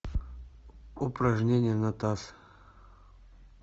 упражнения на таз